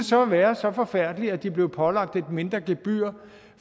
så være så forfærdeligt at de blev pålagt et mindre gebyr